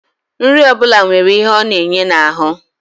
Nri ọ bụla nwere ihe ọ na-enye n'ahụ